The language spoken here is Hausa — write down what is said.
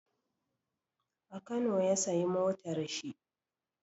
A kano ya sayi motar shi.